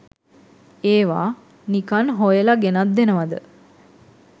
ඒවා නිකන් හොයල ගෙනත් දෙනවද?